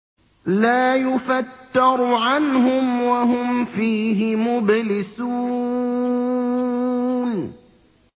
لَا يُفَتَّرُ عَنْهُمْ وَهُمْ فِيهِ مُبْلِسُونَ